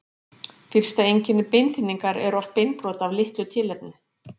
Fyrsta einkenni beinþynningar er oft beinbrot af litlu tilefni.